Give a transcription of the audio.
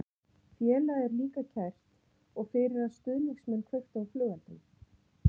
Félagið er líka kært og fyrir að stuðningsmenn kveiktu á flugeldum.